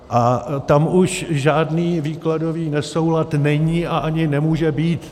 A tam už žádný výkladový nesoulad není a ani nemůže být.